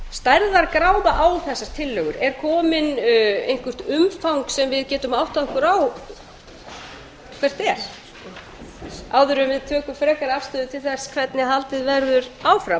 stærðargráða á þessar tillögur er komið eitthvert umfang sem við getum áttað okkur á hvert er áður en við tökum frekari afstöðu til þess hvernig haldið verður áfram